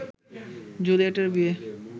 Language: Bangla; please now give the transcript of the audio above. জুলিয়েটের বিয়ে